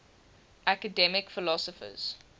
academic philosophers